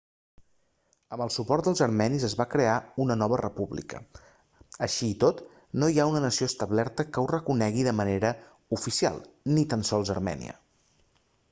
amb el suport dels armenis es va crear una nova república així i tot no hi ha una nació establerta que ho reconegui de manera oficial ni tan sols armènia